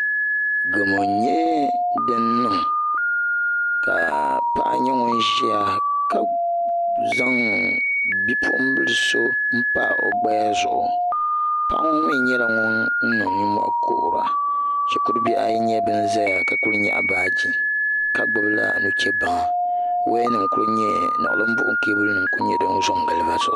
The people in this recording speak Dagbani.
Gamo n nyɛ din niŋ ka paɣa nyɛ ŋun ʒiya ka zaŋ bipuɣunbili so n pa o gbaya zuɣu paɣa ŋo mii nyɛla ŋun niŋ nimmohi kuhura shikuru bihi ayi nyɛla bin ʒɛya ka ku nyaɣa baaji ka gbubila nuchɛ baŋa niɣilim buɣum keebuli nim n ku nyɛ din zo n gili bi zuɣu